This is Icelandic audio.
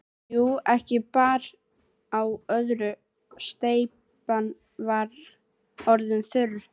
Jú, ekki bar á öðru, steypan var orðin þurr.